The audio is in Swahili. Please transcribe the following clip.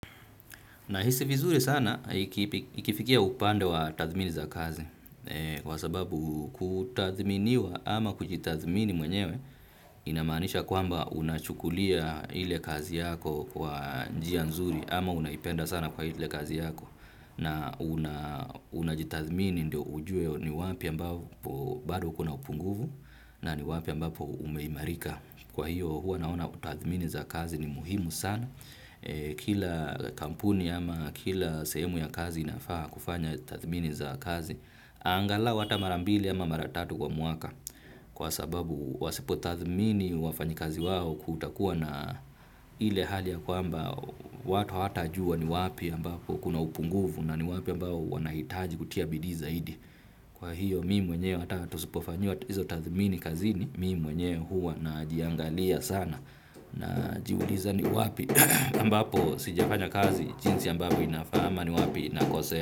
Nahisi vizuri sana ikifikia upande wa tathmini za kazi kwa sababu kutathminiwa ama kujitathmini mwenyewe inamaanisha kwamba unachukulia ile kazi yako kwa njia nzuri ama unaipenda sana kwa ile kazi yako na unajitathmini ndio ujue ni wapi ambapo bado kuna upungufu na ni wapi ambapo umeimarika. Kwa hiyo huwa naona kutathmini za kazi ni muhimu sana. Kila kampuni ama kila sehemu ya kazi inafaa kufanya tathmini za kazi. Angalau ata mara mbili ama mara tatu kwa mwaka kwa sababu wasipo tathmini wafanyikazi wao kutakuwa na ile hali ya kwamba watu hawata jua ni wapi ambapo kuna upungufu na ni wapi ambapo wanahitaji kutia bidi zaidi. Kwa hiyo mimi mwenyewe hata tusipofanyiwa hizo tathmini kazini mimi mwenyewe huwa najiangalia sana najiuliza ni wapi ambapo sijafanya kazi jinsi ambavyo inafaa ama ni wapi nakosea.